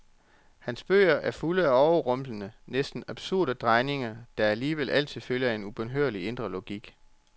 Hans bøger er fulde af overrumplende, næsten absurde drejninger, der alligevel altid følger en egen ubønhørlig indre logik.